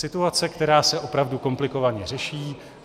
Situace, která se opravdu komplikovaně řeší.